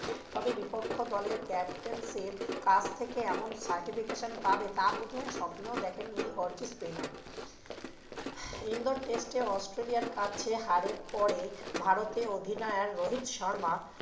তবে বিপক্ষ দলের captains এর কাছ থেকে এমন certifications পাবে তা বোধহয় স্বপ্নেও দেখেনি spinner ইন্ডোর test এ অস্ট্রেলিয়ার কাছে হারের পরে ভারতের অধিনায়ক রোহিত শর্মা